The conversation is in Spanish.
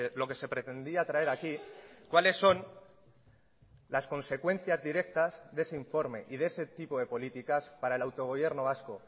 lo que se pretendía traer aquí cuáles son las consecuencias directas de ese informe y de ese tipo de políticas para el autogobierno vasco